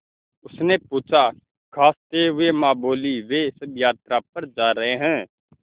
उसने पूछा खाँसते हुए माँ बोलीं वे सब यात्रा पर जा रहे हैं